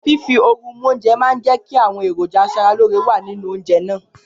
Fífi oru mú oúnjẹ máa ń jẹ́ kí àwọn èròjà asaralóore wà nínú oúnjẹ náà